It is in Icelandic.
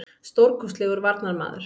Stórkostlegur varnarmaður.